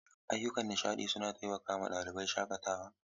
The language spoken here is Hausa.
Ayyukan nishaɗi suna taimakawa ɗalibai shakatawa.